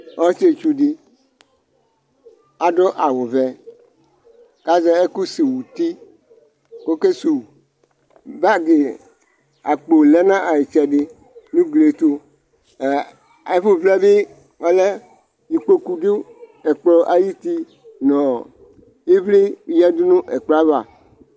Ɔsietsu di adʋ awʋ vɛ, k'azɛ ɛkʋ suw'uti, k'oke suwu Bag, akpo lɛ na itsɛdi n'ugli yɛ tʋ, ɛ , ɛfʋvlɛ bi ɔlɛ, ikpoku dʋ ɛkplɔ ayuti nɔɔ ivli yǝdʋ nʋ ɛkplɔ ava